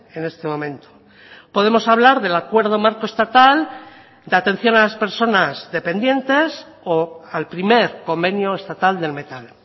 en este momento podemos hablar del acuerdo marco estatal de atención a las personas dependientes o al primer convenio estatal del metal